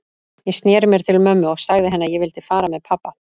Ég sneri mér til mömmu og sagði henni að ég vildi fara með pabba.